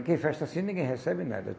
Porque festa assim, ninguém recebe nada.